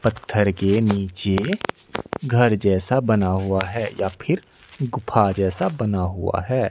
पत्थर के नीचे घर जैसा बना हुआ है या फिर गुफ़ा जैसा बना हुआ है।